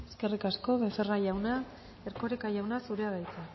eskerrik asko becerra jauna erkoreka jauna zurea da hitza